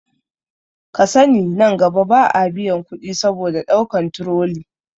Kasani nan gaba ba a biyan kuɗi saboda ɗaukan turoli